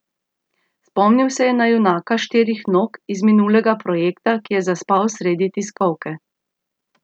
Spomnil se je na junaka štirih nog iz minulega projekta, ki je zaspal sredi tiskovke.